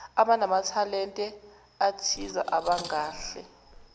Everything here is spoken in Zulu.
abanamathalente athize abangahle